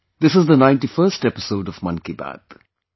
This is the 91st episode of 'Mann Ki Baat'